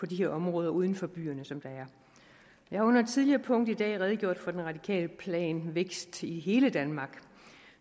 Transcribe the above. de her områder uden for byerne som der er jeg har under et tidligere punkt i dag redegjort for den radikale plan vækst i hele danmark